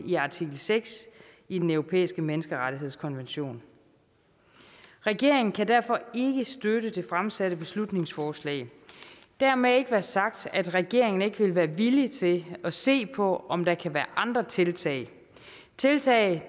i artikel seks i den europæiske menneskerettighedskonvention regeringen kan derfor ikke støtte det fremsatte beslutningsforslag dermed ikke være sagt at regeringen ikke vil være villig til at se på om der kan være andre tiltag tiltag